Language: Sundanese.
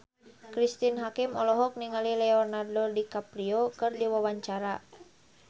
Cristine Hakim olohok ningali Leonardo DiCaprio keur diwawancara